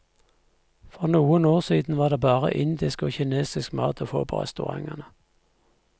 For noen år siden var det bare indisk og kinesisk mat å få på restaurantene.